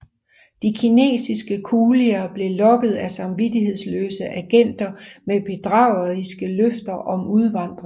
De kinesiske kulier blev lokket af samvittighedsløse agenter med bedrageriske løfter om udvandring